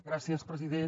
gràcies president